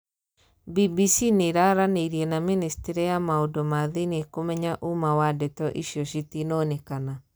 BBC niiraaraneirie na ministri ya maundu ma thiinie kumenya umaa wa ndeto icio citinonekana